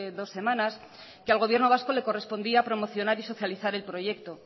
dos semanas que al gobierno vasco le correspondía promocionar y socializar el proyecto